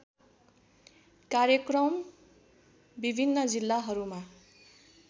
कार्यक्रम विभिन्न जिल्लाहरूमा